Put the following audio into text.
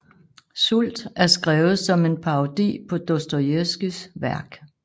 Sult er skrevet som en parodi på Dostojevskijs værk